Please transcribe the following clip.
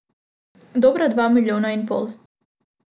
Dobra dva milijona in pol.